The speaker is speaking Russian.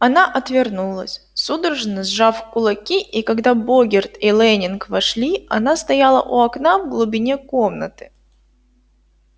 она отвернулась судорожно сжав кулаки и когда богерт и лэннинг вошли она стояла у окна в глубине комнаты